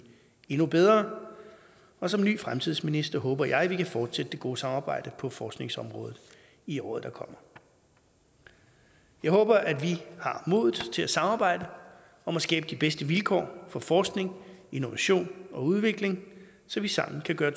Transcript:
endnu bedre og som ny fremtidsminister håber jeg vi kan fortsætte det gode samarbejde på forskningsområdet i året der kommer jeg håber at vi har modet til at samarbejde om at skabe de bedste vilkår for forskning innovation og udvikling så vi sammen kan gøre